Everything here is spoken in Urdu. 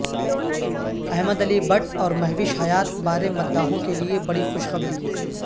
احمد علی بٹ اور مہوش حیات بارے مداحوں کیلئے بڑی خوشخبری